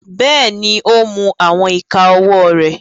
Bẹ́ẹ̀ni, o ń mu awọn ika ọwọ re